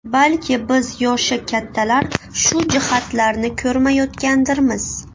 Balki, biz yoshi kattalar shu jihatlarni ko‘rmayotgandirmiz.